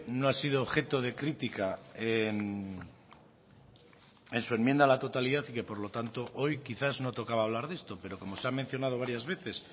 no ha sido objeto de crítica en su enmienda a la totalidad y que por lo tanto hoy quizás no tocaba hablar de esto pero como se ha mencionado varias veces